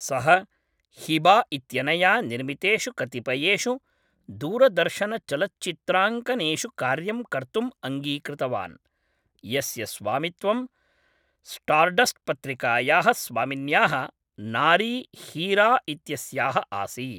सः हिबा इत्यनया निर्मितेषु कतिपयेषु दूरदर्शनचलच्चित्राङ्कनेषु कार्यं कर्तुम् अङ्गीकृतवान्, यस्य स्वामित्वं स्टार्डस्ट् पत्रिकायाः स्वामिन्याः नारी हीरा इत्यस्याः आसीत्।